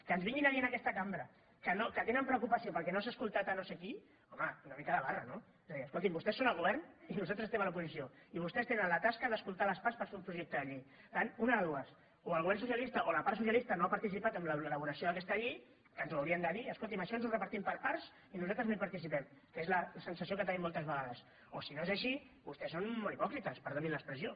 que ens vinguin a dir en aquesta cambra que tenen preocupació perquè no s’ha escoltat a no sé qui home una mica de barra no és a dir escoltin vostès són al govern i nosaltres estem a l’oposició i vostès tenen la tasca d’escoltar les parts per fer un projecte de llei per tant una de dues o el govern socialista o la part socialista no ha participat en l’elaboració d’aquesta llei que ens ho haurien de dir escoltin això ens ho repartim per parts i nosaltres no hi participem que és la sensació que tenim moltes vegades o si no és així vostès són molt hipòcrites perdonin l’expressió